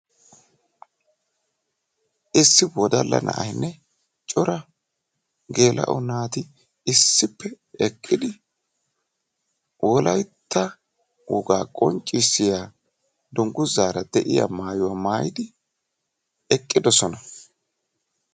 issi wodalla na'ayinne cora gela"o naati issippe eqqidi wolaytta woga qonccissiya dungguzaara de'iyaa maayuwa mayyidi eqqidoosona.